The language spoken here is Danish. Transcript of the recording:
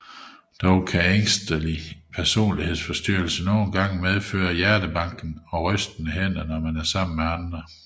Dog kan ængstelig personlighedsforstyrrelse nogen gange medføre hjertebanken og rystende hænder når man er sammen med andre